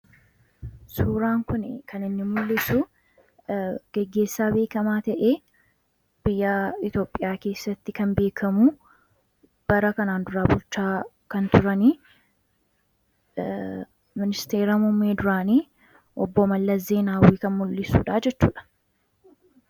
suuraan kun kan inni mul'isu geggeessaa beekamaa ta'ee biyyaa iitoophiyaa keessatti kan beekamuu bara kanaan duraa bulchaa kan turanii ministeera muummee duraanii obbo mallas zeenaawwii kan mul'isuudha jechuudha.